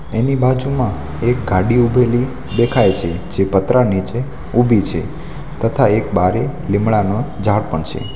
તેની બાજુમાં એક ગાડી ઉભેલી દેખાય છે જે પતરા નીચે ઉભી છે તથા એક બારે લીમડાનો ઝાડ પણ છે.